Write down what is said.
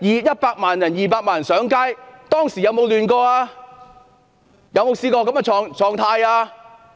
100萬上街、200萬人上街，當時有沒有出現混亂？